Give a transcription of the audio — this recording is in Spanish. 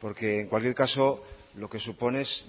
porque en cualquier caso lo que supone es